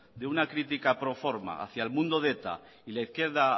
de una crítica proforma hacia el mundo de eta y la izquierda